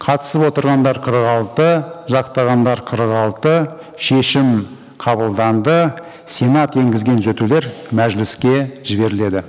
қатысып отырғандар қырық алты жақтағандар қырық алты шешім қабылданды сенат енгізген түзетулер мәжіліске жіберіледі